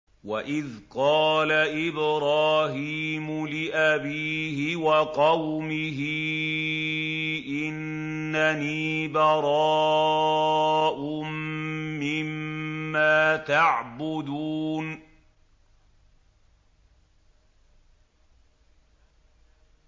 وَإِذْ قَالَ إِبْرَاهِيمُ لِأَبِيهِ وَقَوْمِهِ إِنَّنِي بَرَاءٌ مِّمَّا تَعْبُدُونَ